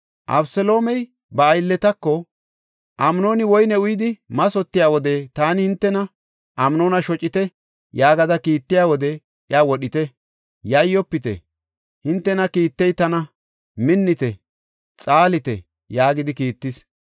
Abeseloomey ba aylletako, “Amnooni woyne uyidi mathotiya wode taani hintena, ‘Amnoona shocite’ yaagada kiittiya wode iya wodhite. Yayyofite! Hintena kiittey tana. Minnite! Xaalite!” yaagidi kiittis.